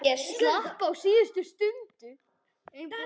Ég slapp á síðustu stundu.